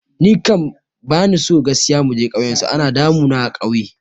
Ni kam bani so gaskiya muje kauyen su, ana damu na a kauye